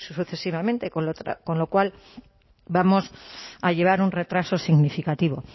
sucesivamente con lo cual vamos a llevar un retraso significativo